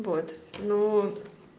вот ну